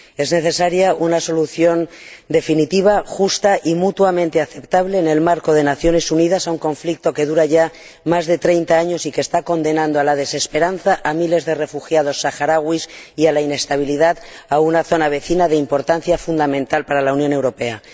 Es necesaria una solución definitiva, justa y mutuamente aceptable, en el marco de las Naciones Unidas, para un conflicto que dura ya más de 30 años y que está condenando a la desesperanza a miles de refugiados saharauis y a la inestabilidad a una zona vecina de importancia fundamental para la Unión Europea.